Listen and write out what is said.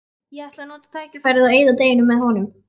Ég ætla að nota tækifærið og eyða deginum með honum.